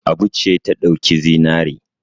Abu ce ta ɗauki zinare.